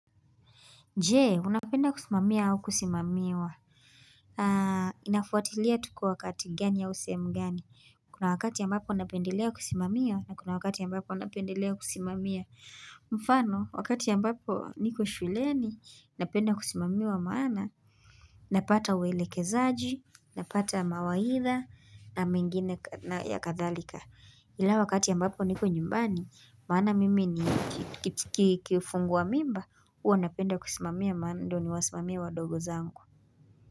Je, unapenda kusimamia au kusimamiwa. Inafuatilia tuko wakati gani au sehemu gani. Kuna wakati ambapo napendelea kusimamiwa na kuna wakati ambapo napendelea kusimamiwa. Mfano, wakati ambapo niko shuleni, napenda kusimamiwa maana, napata uwelekezaji, napata mawaidha na mengine ya kadhalika. Ila wakati ambapo niko nyumbani, maana mimi ni kifungua mimba, huwa napenda kusimamia maana ndo niwasimamie wadogo zangu.